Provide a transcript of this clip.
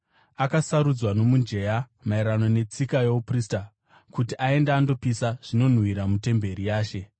akasarudzwa nomujenya, maererano netsika youprista, kuti aende andopisa zvinonhuhwira mutemberi yaShe.